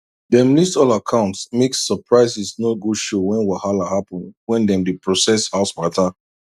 dem list all accounts make surprises no go show when wahala happen when dem dey process house matter